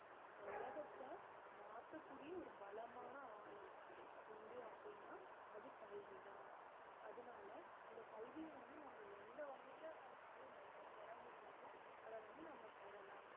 இந்த உலகத்த மாத்தக்கூடிய ஒரு பலமான ஆயுதம் உண்டு அப்படீன்னா அது கல்விதான் அதனால இந்த கல்விய வந்து நம்ம எந்த வகையில நம்மனால இ~ பெற முடியுமோ அத வந்து நம்ம பெறலாம்